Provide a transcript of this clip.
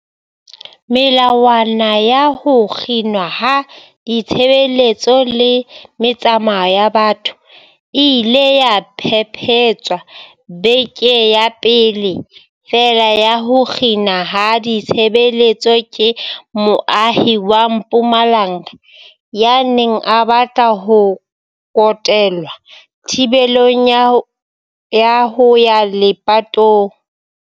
Melawana ya ho kginwa ha ditshebeletso le metsamao ya batho e ile ya phephetswa bekeng ya pele feela ya ho kginwa ha ditshebeletso ke moahi wa Mpumalanga ya neng a batla ho kotelwa thibelong ya ho ya lepatong.